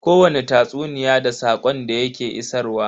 Kowani tatsuniya da saƙon da ya ke isarwa.